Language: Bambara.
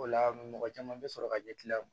O la mɔgɔ caman bɛ sɔrɔ ka ɲɛkili la